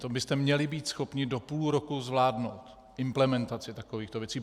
To byste měli být schopni do půl roku zvládnout, implementaci takovýchto věcí.